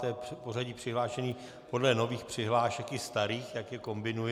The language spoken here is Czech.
To je pořadí přihlášených podle nových přihlášek i starých, tak je kombinuji.